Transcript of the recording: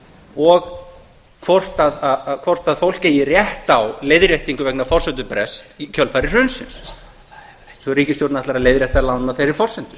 og hvort fólk eigi rétt á leiðréttingu vegna forsendubrests í kjölfar hrunsins sem ríkisstjórnin ætlar að leiðrétta lánin á þeirri forsendu